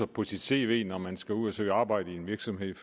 på sit cv når man skal ud at søge arbejde i en virksomhed